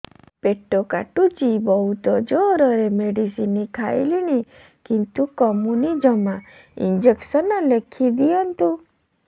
ପେଟ କାଟୁଛି ବହୁତ ଜୋରରେ ମେଡିସିନ ଖାଇଲିଣି କିନ୍ତୁ କମୁନି ଜମା ଇଂଜେକସନ ଲେଖିଦିଅନ୍ତୁ